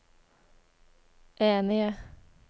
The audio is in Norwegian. enige